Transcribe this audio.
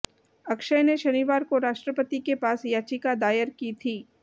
अक्षय ने शनिवार को राष्ट्रपति के पास याचिका दायर की थी